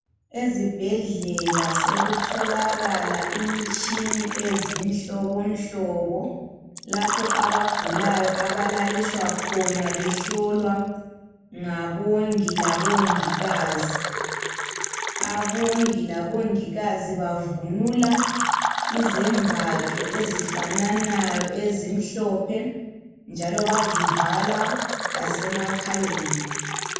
Ezibhedlela sekutholakala imitshini izinhlobohlobo lapho abagulayo abalaliswa khona behlolwa ngabongi labongikazi, abongi labongikazi bavunula izembatho ezifananayo ezimhlophe njalo bazivala lasemakhaleni.